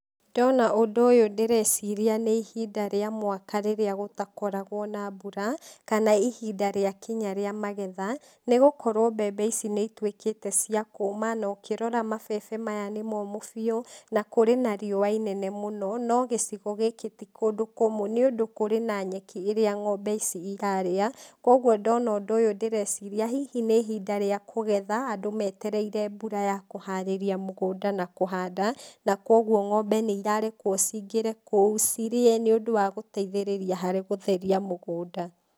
Ndona ũndũ ũyũ ndĩreciria nĩ ihinda rĩa mwaka rĩrĩa gũtakoragwo na mbura, kana ihinda rĩa kinya rĩa mageha, nĩgũkorwo mbembe ici nĩituĩkĩte cia kũma na ũkirora mabebe maya nĩmomũ biũ, na kũrĩ nariua inene mũno, no gĩcigo gĩkĩ ti kũndũ kũmũ nĩũndũ kũrĩ na nyeki ĩrĩa ngombe ici cirarĩa, koguo ndona ũndũ ũyũ ndĩreciria hihi nĩ ihinda rĩa kũgetha, andũ metereire mbura ya kũharĩria mũgũnda na kũhanda, na koguo ngombe nĩ irarekwo cingĩre kũu cirie nĩũndũ wa gũteithĩrĩria harĩ gũtheria mũgũnda.